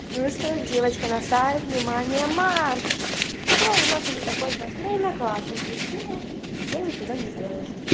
ну что девочки на старт внимание марш все у нас уже закончилась время класс разбудит химия я нифига не сделала